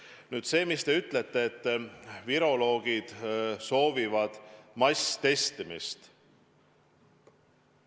Nüüd teie väitest, et viroloogid soovivad masstestimist.